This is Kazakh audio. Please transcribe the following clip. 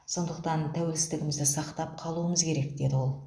сондықтан тәуелсіздігімізді сақтап қалуымыз керек деді ол